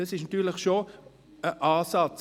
Das ist natürlich schon ein Ansatz.